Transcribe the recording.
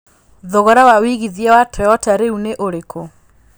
thogora wa wĩigĩthĩa wa Toyota rĩũ ni ũrĩkũ